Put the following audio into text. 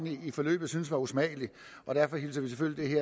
hele forløbet syntes var usmagelig derfor hilser vi selvfølgelig